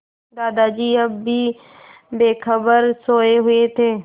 दादाजी अब भी बेखबर सोये हुए थे